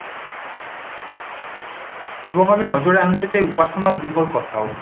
এবং আমি নজরে আনতে চাই উপাসনা গৃহর কথাও